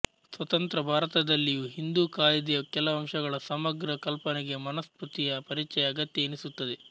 ಸ್ವತಂತ್ರ ಭಾರತದಲ್ಲಿಯೂ ಹಿಂದೂ ಕಾಯಿದೆಯ ಕೆಲವಂಶಗಳ ಸಮಗ್ರ ಕಲ್ಪನೆಗೆ ಮನುಸ್ಮೃತಿಯ ಪರಿಚಯ ಅಗತ್ಯ ಎನಿಸುತ್ತದೆ